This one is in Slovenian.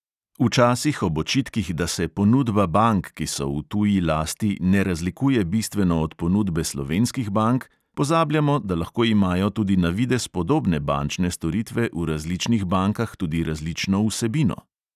Včasih ob očitkih, da se ponudba bank, ki so v tuji lasti, ne razlikuje bistveno od ponudbe slovenskih bank, pozabljamo, da lahko imajo tudi na videz podobne bančne storitve v različnih bankah tudi različno vsebino.